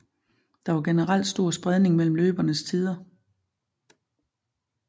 Der var generelt stor spredning mellem løbernes tider